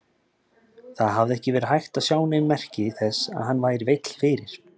Það hafði ekki verið hægt að sjá nein merki þess að hann væri veill fyrir.